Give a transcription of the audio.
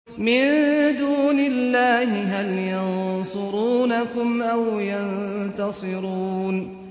مِن دُونِ اللَّهِ هَلْ يَنصُرُونَكُمْ أَوْ يَنتَصِرُونَ